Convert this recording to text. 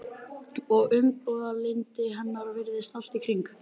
Og umburðarlyndi hennar virðist allt í kring.